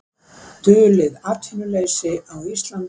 Dulið atvinnuleysi á Íslandi